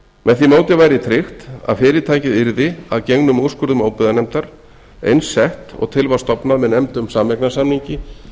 því móti væri tryggt að fyrirtækið yrði að gengnum úrskurðum óbyggðanefndar eins sett og til var stofnað með nefndum sameignarsamningi